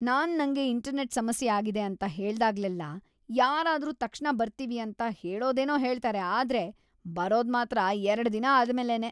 ನಾನ್ ನಂಗೆ ಇಂಟರ್ನೆಟ್‌ ಸಮಸ್ಯೆ ಆಗಿದೆ ಅಂತ ಹೇಳ್ದಾಗ್ಲೆಲ್ಲ ಯಾರಾದ್ರೂ ತಕ್ಷಣ ಬರ್ತೀವಿ ಅಂತ ಹೇಳೋದೇನೋ ಹೇಳ್ತಾರೆ, ಆದ್ರೆ ಬರೋದ್‌ ಮಾತ್ರ ಎರಡ್‌ ದಿನ ಆದ್ಮೇಲೇನೇ.